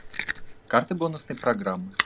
карты бонусной программы